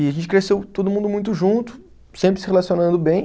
E a gente cresceu todo mundo muito junto, sempre se relacionando bem.